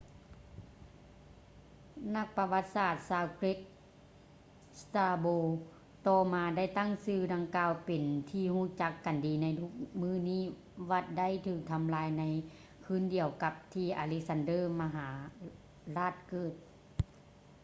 ນັກປະຫວັດສາດຊາວເກຣັກ strabo ຕໍ່ມາໄດ້ຕັ້ງຊື່ດັ່ງກ່າວເປັນທີ່ຮູ້ຈັກກັນດີໃນທຸກມື້ນີ້ ວັດໄດ້ຖືກທໍາລາຍໃນຄືນດຽວກັບທີ່ອາເລັກຊານເດີ ມະຫາຣາດເກີດ